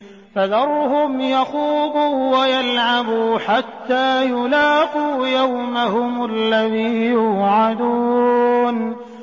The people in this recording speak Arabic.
فَذَرْهُمْ يَخُوضُوا وَيَلْعَبُوا حَتَّىٰ يُلَاقُوا يَوْمَهُمُ الَّذِي يُوعَدُونَ